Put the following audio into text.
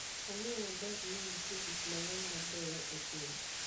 Ong'eyo maber ni nitie gik mang'eny mabeyo e piny.